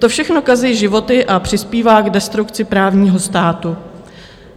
To všechno kazí životy a přispívá k destrukci právního státu.